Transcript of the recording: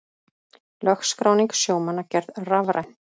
Lögskráning sjómanna gerð rafræn